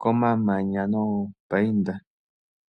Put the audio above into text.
komamanya noopainda.